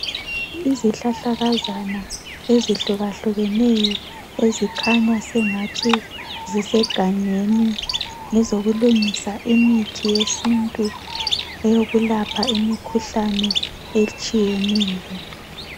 Izihlahlakazana ezihlukahlukeneyo ezikhanya sengathi zisegangeni, ngezokulungisa imithi yesintu eyokulapha imikhuhlane etshiyeneyo.